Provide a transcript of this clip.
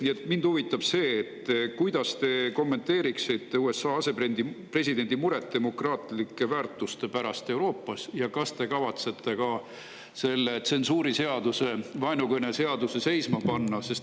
Nii et mind huvitab see, kuidas te kommenteeriksite USA asepresidendi muret demokraatlike väärtuste pärast Euroopas ja kas te kavatsete selle tsensuuriseaduse, vaenukõne seaduse seisma panna.